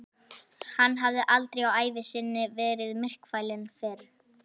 Hann hafði aldrei á ævi sinni verið myrkfælinn fyrr.